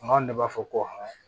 Maaw de b'a fɔ ko